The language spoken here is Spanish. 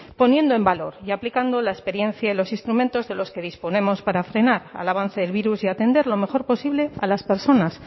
poniendo en valor y aplicando la experiencia y los instrumentos de los que disponemos para frenar al avance del virus y atender lo mejor posible a las personas